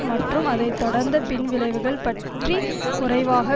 மற்றும் அதை தொடர்ந்த பின்விளைவுகள் பற்றி குறைவாக